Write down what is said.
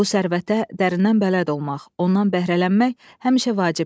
Bu sərvətə dərindən bələd olmaq, ondan bəhrələnmək həmişə vacibdir.